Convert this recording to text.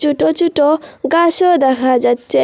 ছোট ছোট গাছও দেখা যাচ্চে।